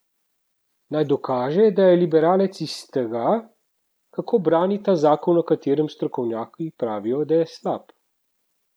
Naj dokaže, da je liberalec iz tega, kako brani ta zakon o katerem strokovnjaki pravijo, da je slab.